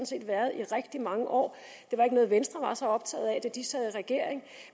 set været i rigtig mange år det var ikke noget venstre var så optaget af da de sad i regering